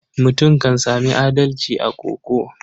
Mutum kan sami adalci a koko.